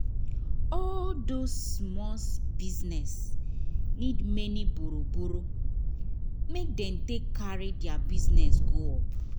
all those small business need many burrow burrow make they take carry thier business go up